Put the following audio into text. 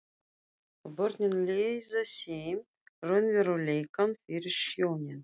Og börnin leiða þeim raunveruleikann fyrir sjónir.